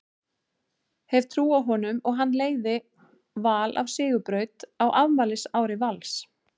Hef trú á honum og hann leiði Val á sigurbraut á afmælisári Vals.